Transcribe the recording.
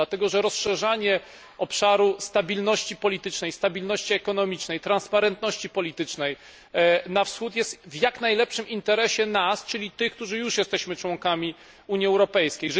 Dlatego, że rozszerzanie obszaru stabilności politycznej, stabilności ekonomicznej, transparentności politycznej na wschód jest w jak najlepszym interesie nas, czyli tych, którzy już jesteśmy członkami Unii Europejskiej.